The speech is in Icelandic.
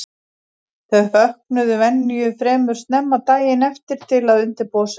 Þau vöknuðu venju fremur snemma daginn eftir til að undirbúa söluna.